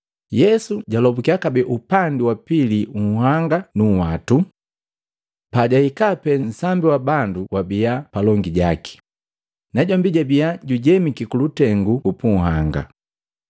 Yesu jalombukiya kabee upandi wa pili unhanga nu nhwatu. Pajahika pe nsambi wa bandu wabia palongi jaki, najombi jabia jujemiki kulutengu upunhanga.